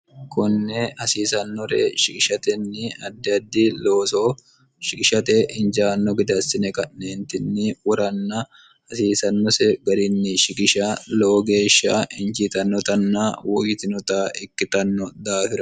konne hasiisannore shigishatenni addi addi looso shigishate injaanno gede assine ka'neentinni woranna hasiisannose garinni shigisha lowo geeshsha injiitannotanna woyyitinota ikkitanno daafiro